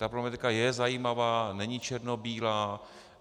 Ta problematika je zajímavá, není černobílá.